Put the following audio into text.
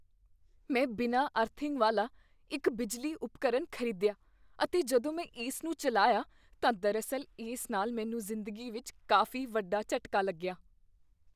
ਮੈਂ ਬਿਨਾਂ ਅਰਥਿੰਗ ਵਾਲਾ ਇੱਕ ਬਿਜਲੀ ਉਪਕਰਨ ਖ਼ਰੀਦਿਆ ਅਤੇ ਜਦੋਂ ਮੈਂ ਇਸ ਨੂੰ ਚੱਲਾਇਆ ਤਾਂ ਦਰਾਅਸਲ ਇਸ ਨਾਲ ਮੈਨੂੰ ਜਿੰਦਗੀ ਵਿਚ ਕਾਫ਼ੀ ਵੱਡਾ ਝਟਕਾ ਲੱਗਿਆ।